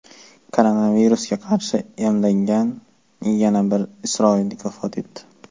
Koronavirusga qarshi emlangan yana bir isroillik vafot etdi.